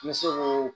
N bɛ se koo